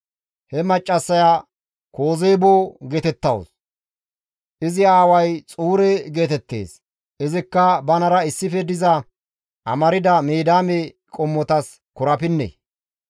He maccassaya Kozeebo geetettawus; izi aaway Xuure geetettees; izikka banara issife diza amarda Midiyaame qommotas korapinne.